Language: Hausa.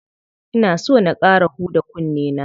Ina so na ƙara huda kunne na.